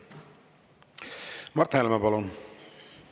Mart Helme, palun!